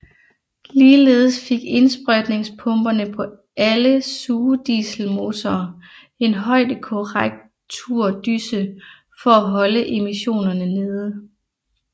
Ligeledes fik indsprøjtningspumperne på alle sugedieselmotorer en højdekorrekturdyse for at holde emissionerne nede